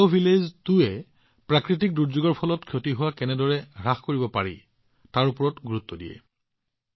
জৈৱগাঁও ২এ প্ৰাকৃতিক দুৰ্যোগৰ ফলত হোৱা ক্ষতি কেনেদৰে হ্ৰাস কৰিব পাৰি তাৰ ওপৰত গুৰুত্ব আৰোপ কৰে